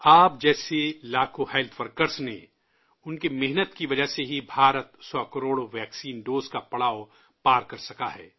آپ جیسے لاکھوں ہیلتھ ورکرز نے ان کی محنت کی وجہ سے ہی بھارت سو کروڑ ویکسین ڈوز کا پڑاؤ پار کر سکا ہے